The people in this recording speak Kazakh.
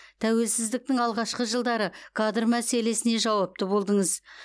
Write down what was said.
тәуелсіздіктің алғашқы жылдары кадр мәселесіне жауапты болдыңыз